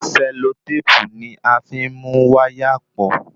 Sẹlotépù ni a fí n mú wáyà pọ̀